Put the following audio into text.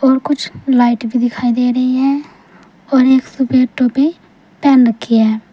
और कुछ लाइट भी दिखाई दे रही है और एक सफेद टोपी पहन रखी है।